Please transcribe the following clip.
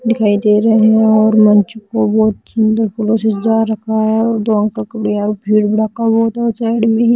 दिखाई दे रहे हैं और मंच में बहुत सुंदर फूलों से सजा रखा है और खुलेआम भीड़ भड़का बहोत है और साइड में ही--